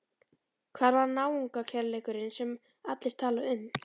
Hvar var náungakærleikurinn sem allir tala um?